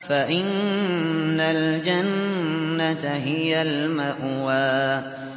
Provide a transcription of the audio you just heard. فَإِنَّ الْجَنَّةَ هِيَ الْمَأْوَىٰ